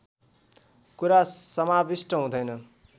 कुरा समाविष्ट हुँदैन